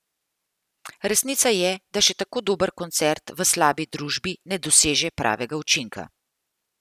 Resnica je, da še tako dober koncert v slabi družbi ne doseže pravega učinka.